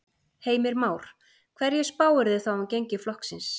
Heimir Már: Hverju spáirðu þá um gengi flokksins?